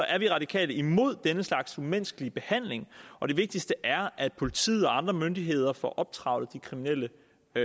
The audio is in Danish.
er de radikale imod den slags umenneskelige behandling og det vigtigste er at politiet og andre myndigheder får optrævlet de kriminelle